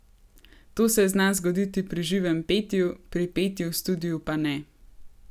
To se zna zgoditi pri živem petju, pri petju v studiu pa ne.